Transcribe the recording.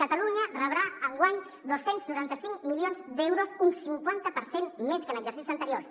catalunya rebrà enguany dos cents i noranta cinc milions d’euros un cinquanta per cent més que en exercicis anteriors